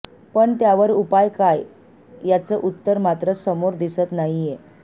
पण त्यावर उपाय काय याचं उत्तर मात्र समोर दिसत नाहीये